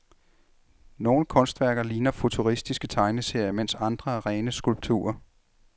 Nogle kunstværker ligner futuristiske tegneserier, mens andre er rene skulpturer.